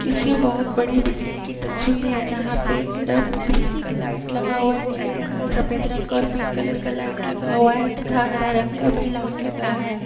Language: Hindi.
किसी बहोत बड़ी बिल्डिंग की तस्वीरें है जहाँ पे रंग-बिरंगा लाइट लगी हुई है नीले रंग का सफेद रंग का और पिंक कलर का लाइट लगा हुआ है तथा हरे रंग का भी लाइट लगा है।